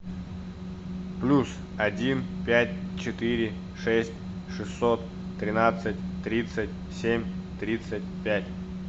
плюс один пять четыре шесть шестьсот тринадцать тридцать семь тридцать пять